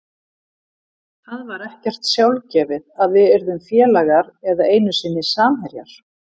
Það var ekkert sjálfgefið að við yrðum félagar eða einu sinni samherjar.